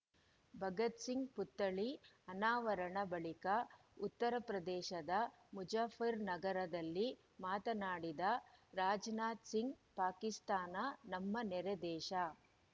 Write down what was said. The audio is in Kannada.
ಭಗತ್‌ ಸಿಂಗ್‌ ಪುತ್ಥಳಿ ಅನಾವರಣ ಬಳಿಕ ಉತ್ತರಪ್ರದೇಶದ ಮುಜಫ್ಫರ್‌ನಗರದಲ್ಲಿ ಮಾತನಾಡಿದ ರಾಜನಾಥ ಸಿಂಗ್‌ ಪಾಕಿಸ್ತಾನ ನಮ್ಮ ನೆರೆ ದೇಶ